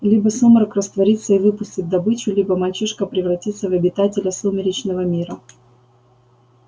либо сумрак растворится и выпустит добычу либо мальчишка превратится в обитателя сумеречного мира